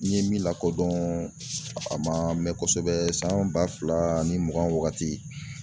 N ye min lakodɔn a ma mɛn kosɛbɛ san ba fila ni mugan ni wagati